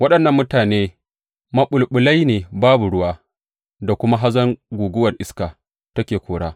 Waɗannan mutane maɓulɓulai ne babu ruwa da kuma hazon da guguwar iska take kora.